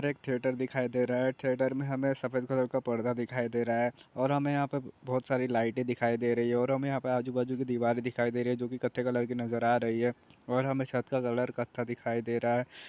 एक थिएटर दिखाई दे रहा है थिएटर में सफेद कलर का पर्दा नजर आ रहा है और हमे बहुत सारी लाईटे दिखाई दे रही है और हमे आजू-बाजु की दीवारे दिखाई दे रही है जो की कथथे कलर की नजर आ रही है और हमे छत का कलर कथथा दिखाई दे रहा है।